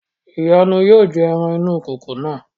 ìyànú yóò jẹ ẹran inú ìkòkò náà